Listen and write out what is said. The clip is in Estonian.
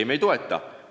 Ei, ma ei toeta!